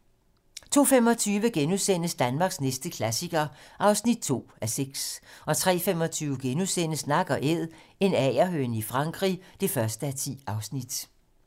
02:25: Danmarks næste klassiker (2:6)* 03:25: Nak & Æd - en agerhøne i Frankrig (1:10)*